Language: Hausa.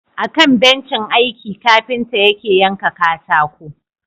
Akan bencin aiki kafinta yake yanka katako.